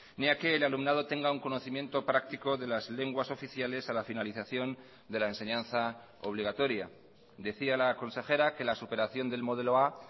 ni a que el alumnado tenga un conocimiento práctico de las lenguas oficiales a la finalización de la enseñanza obligatoria decía la consejera que la superación del modelo a